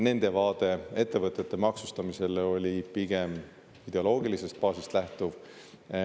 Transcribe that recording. Nende vaade ettevõtete maksustamisele oli pigem ideoloogilisest baasist lähtuv.